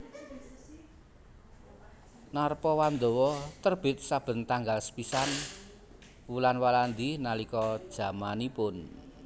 Narpawandawa terbit saben tanggal sepisan wulan Walandi nalika jamanipun